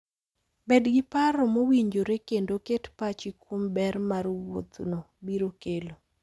Bed gi paro mowinjore, kendo ket pachi kuom ber ma wuodhno biro kelo.